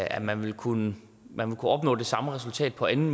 at man ville kunne opnå det samme resultat på en